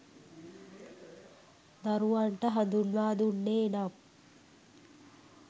දරුවන්ට හඳුන්වා දුන්නේ නම්